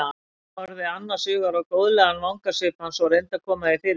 Hún horfði annars hugar á góðlegan vangasvip hans og reyndi að koma því fyrir sig.